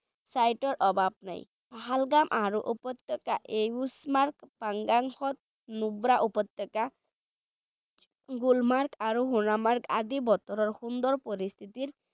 Site ৰ অভাৱ নাই পহলগাম আৰু উপত্যকা য়ুছমাৰ্গ, পাঞ্জাল নুব্ৰা উপত্যকা গুলমাৰ্গ আৰু সোণমাৰ্গ আদি বতৰৰ সুন্দৰ পৰিস্থিতিত